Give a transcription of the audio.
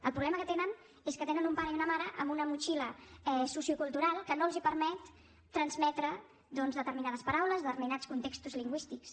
el problema que tenen és que tenen un pare i una mare amb una motxilla sociocultural que no els permet transmetre doncs determinades paraules determinats contextos lingüístics